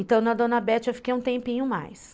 Então, na Dona Bete eu fiquei um tempinho mais.